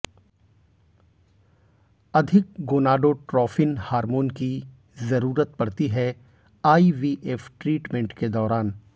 अधिक gonadotropin hormone की जरूरत पड़ती है आईवीएफ ट्रीटमेंट के दौरान